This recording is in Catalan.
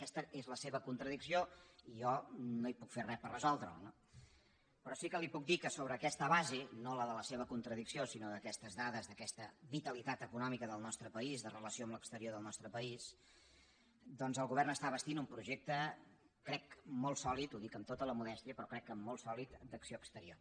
aquesta és la seva contradicció i jo no hi puc fer res per resoldre la però sí que li puc dir que sobre aquesta base no la de la seva contradicció sinó d’aquestes dades d’aquesta vitalitat econòmica del nostre país de relació amb l’exterior del nostre país doncs el govern està bastint un projecte crec molt sòlid ho dic amb tota la modèstia però crec que molt sòlid d’acció exterior